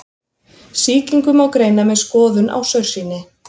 Sýkingu má greina með skoðun á saursýni.